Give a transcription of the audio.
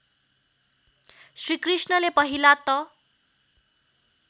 श्रीकृष्णले पहिला त